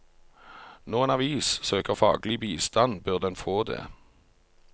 Når en avis søker faglig bistand, bør den få det.